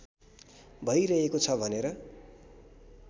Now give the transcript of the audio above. भइरहेको छ भनेर